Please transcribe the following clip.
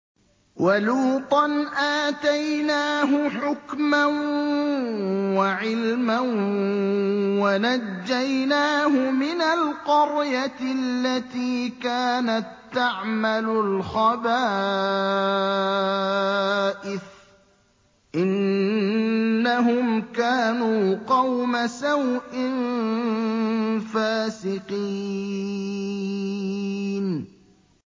وَلُوطًا آتَيْنَاهُ حُكْمًا وَعِلْمًا وَنَجَّيْنَاهُ مِنَ الْقَرْيَةِ الَّتِي كَانَت تَّعْمَلُ الْخَبَائِثَ ۗ إِنَّهُمْ كَانُوا قَوْمَ سَوْءٍ فَاسِقِينَ